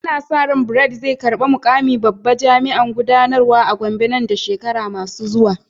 Ana sa ran Bright zai karbi mukamin babban jami'in gudanarwa a Gombe nan da shekaru masu zuwa.